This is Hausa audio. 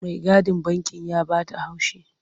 Maigadin banki ya ba ta haushi.